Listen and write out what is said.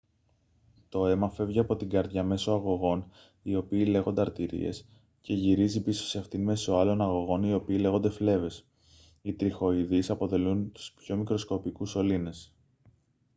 το αίμα φεύγει από την καρδιά μέσω αγωγών οι οποίοι λέγονται αρτηρίες και γυρίζει πίσω σε αυτήν μέσω άλλων αγωγών οι οποίοι λέγονται φλέβες οι τριχοειδείς αποτελούν τους πιο μικροσκοπικούς σωλήνες